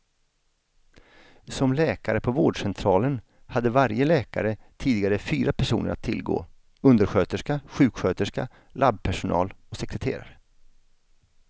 Som läkare på vårdcentralen hade varje läkare tidigare fyra personer att tillgå, undersköterska, sjuksköterska, labbpersonal och sekreterare.